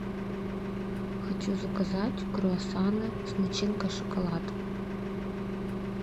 хочу заказать круассаны с начинкой шоколад